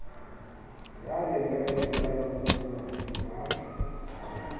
ya lenane la borapolasi ba